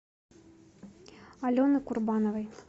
алены курбановой